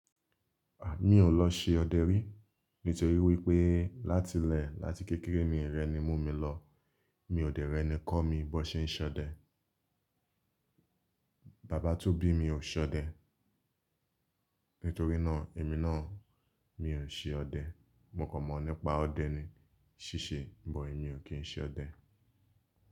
Mí ò lọ ṣe ọdẹ rí nítorí wípé láti lẹ̀ láti kékeré mi i rẹ ni mú mi lọ. Mi ò dẹ̀ rẹ̀ ni kọ́ mi bón ṣe ń ṣọdẹ. Bàbá tó bí mi ò ṣọdẹ nítorí náà, èmi náà mi ò ṣe ọdẹ. Mo kan mọ̀ nípa ọdẹ ni ṣíṣe, but emi ò kí n ṣe ọdẹ.